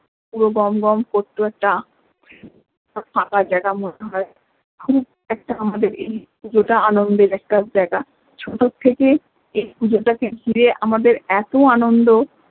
পুরো গম গম করতো একটা ফাঁকা জায়গা মতো খুব একটা আমাদের এই পুজোটা আনন্দের একটা জায়গা ছোট থেকে এই পুজোটা কে ঘিরে আমাদের এত আনন্দ